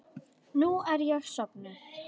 Nú er ég sofnuð.